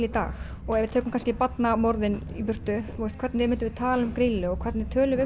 í dag og ef við tökum kannski barnamorðin í burtu hvernig myndum við tala um Grýlu og hvernig tölum